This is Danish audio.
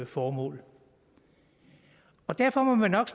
formål derfor må man nok